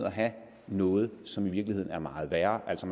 at have noget som virkeligheden er meget værre altså